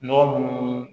Nɔgɔ mun